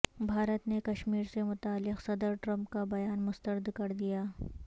بھارت نے کشمیر سے متعلق صدر ٹرمپ کا بیان مسترد کر دیا